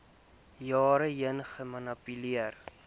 jare heen gemanipuleer